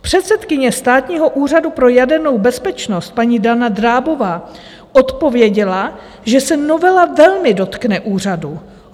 Předsedkyně Státního úřadu pro jadernou bezpečnost paní Dana Drábová odpověděla, že se novela velmi dotkne úřadu.